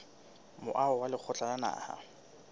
moaho wa lekgotla la naha